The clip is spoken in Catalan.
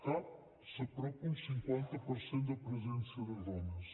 cap s’apropa a un cinquanta per cent de presència de dones